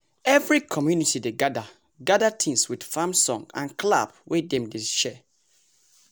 every community dey gather gather tins with farm song and clap wey dem dey share.